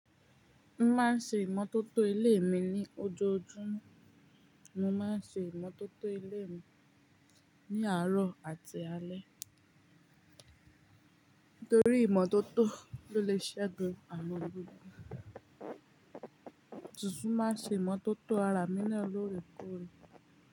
Mo máa ń ṣe ìmọ́tótó ilé mi ní ojoojúmọ́, mo máa ń ṣe ìmọ́tótó ilé mi ní àárọ̀ àti alẹ́. Nítorí ìmọ́tótó ló le ṣe gun àwọn gbígbá. Titun máa ṣe ìmọ́tótó ara mi ní olórìko rí.